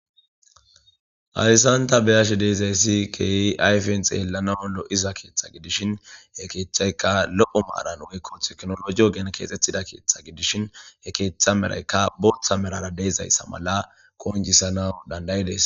hayssanta be'ashe deezayssi keehi ayfenxeellana lo7iza keeththa gidishin he keeththaykka lo7o maaran woykko teknologiyo gen keexxethida keeththa gidishin he keeththa meraykka booththa merara deezayssa mala koonjisana dandayidees